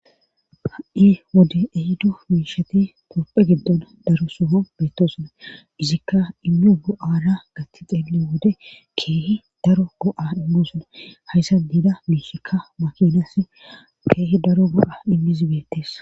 Ha7i wode ehiddo miishati topphe giddon daro soho beettosuna izikka immio go7aada gatti xeele wode keehi daro go7a immosona hayssa niida miishikka makinas keehi daro go7a immizbeettes